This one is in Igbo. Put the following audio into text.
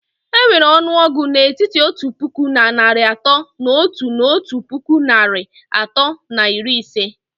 Enwere ọnụọgụ n'etiti otu puku na narị atọ na otu na otu puku narị atọ na iri ise